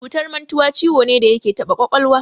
Cutar mantuwa ciwo ne da yake taɓa ƙwaƙwalwa.